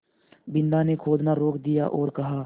बिन्दा ने खोदना रोक दिया और कहा